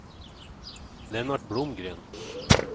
Lennart Blomgren